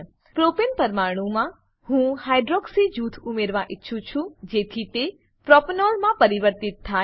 પ્રોપને propane પરમાણુમાં હું hydroxy hydroxy જૂથ ઉમેરવા ઈચ્છું છું જેથી તે પ્રોપેનોલ પ્રોપેનોલ માં પરિવર્તિત થાય